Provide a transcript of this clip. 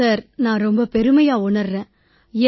sir ரொம்ப பெருமையா உணர்றேன் நான்